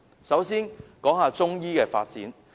首先，是關於中醫的發展。